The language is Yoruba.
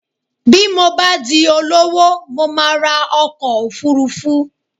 Bí mo bá di olówó, mo máa ra ọkọ̀ òfuurufú